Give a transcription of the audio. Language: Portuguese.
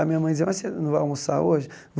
A minha mãe dizia, mas você não vai almoçar hoje?